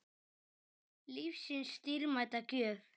Lífsins dýrmæta gjöf.